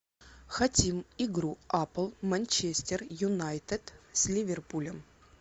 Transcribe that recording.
хотим игру апл манчестер юнайтед с ливерпулем